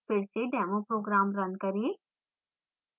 फिर से demo program run करें